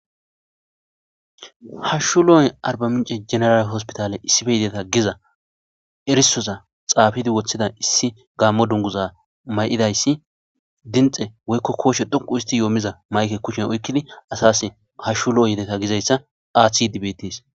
Hashshu lo'on arbaminche general hospitale issipe tideta giza erisoza xafid wothida issi gaamo dunguza mayidays dimxe woyko kooshe dhoqu histid yoomiza mayuke kushen oykid hashu lo'o tideta gizaysa athid betes